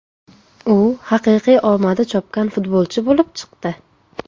U haqiqiy omadi chopgan futbolchi bo‘lib chiqdi.